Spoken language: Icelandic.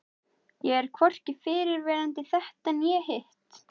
Ég er hvorki fyrrverandi þetta né hitt.